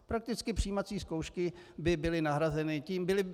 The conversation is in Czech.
Prakticky přijímací zkoušky by byly nahrazeny tím.